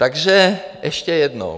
Takže ještě jednou.